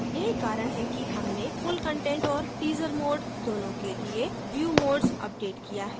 यही कारण है कि हमने full content और teaser mode दोनों के लिए view modes अपडेट किया है